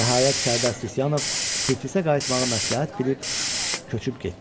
Nəhayət Sərdar Sisyanov Tiflisə qayıtmağı məsləhət bilib köçüb getdi.